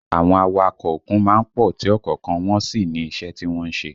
Àwọn awakọ̀ òkun má ń pọ̀ tí ọ̀kọ̀ọ̀kan wọn sì ní iṣẹ́ tí wọ́n ń ṣe